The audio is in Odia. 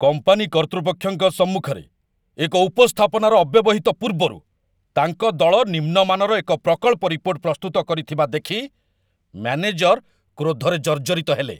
କମ୍ପାନୀ କର୍ତ୍ତୃପକ୍ଷଙ୍କ ସମ୍ମୁଖରେ ଏକ ଉପସ୍ଥାପନାର ଅବ୍ୟବହିତ ପୂର୍ବରୁ, ତାଙ୍କ ଦଳ ନିମ୍ନ ମାନର ଏକ ପ୍ରକଳ୍ପ ରିପୋର୍ଟ ପ୍ରସ୍ତୁତ କରିଥିବା ଦେଖି ମ୍ୟାନେଜର କ୍ରୋଧରେ ଜର୍ଜରିତ ହେଲେ।